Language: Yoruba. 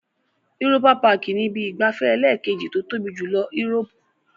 Europa-Park ni ibi ìgbafẹ́ ẹlẹ́ẹ̀kejì tó tóbi jùlọ Europe.